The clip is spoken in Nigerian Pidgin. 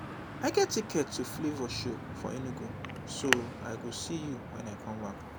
i get ticket to flavour show for enugu so i go see you wen i come back back